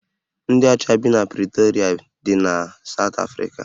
Ndị ọcha bi na Pritorịa dị na Sawt Afrika